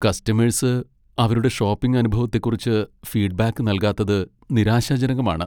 Customers അവരുടെ shopping അനുഭവത്തെക്കുറിച്ച് feedback നൽകാത്തത് നിരാശാജനകമാണ്.